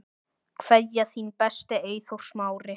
Kveðja, þinn besti, Eyþór Smári.